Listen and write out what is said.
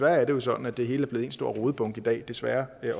er jo sådan at det hele er blevet en stor rodebunke i dag desværre